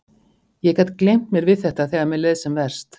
Ég gat gleymt mér við þetta þegar mér leið sem verst.